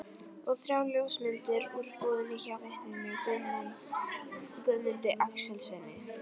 Og þrjár ljósmyndir úr búðinni hjá vitninu Guðmundi Axelssyni.